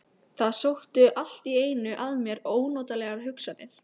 Það sóttu allt í einu að mér ónotalegar hugsanir.